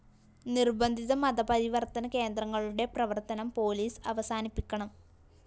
നിര്‍ബന്ധിത മതപരിവര്‍ത്തന കേന്ദ്രങ്ങളുടെ പ്രവര്‍ത്തനം പോലീസ് അവസാനിപ്പിക്കണം